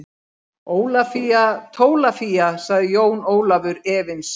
Ólafía Tólafía, sagði Jón Ólafur efins.